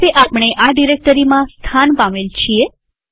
તો હવે આપણે આ ડિરેક્ટરીમાં સ્થાન પામેલ છીએ